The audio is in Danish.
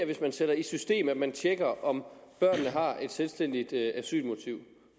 hvis man sætter i system at man tjekker om børnene har et selvstændigt asylmotiv